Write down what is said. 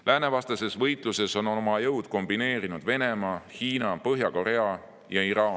Läänevastases võitluses on oma jõud kombineerinud Venemaa, Hiina, Põhja-Korea ja Iraan.